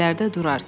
İndilərdə durar.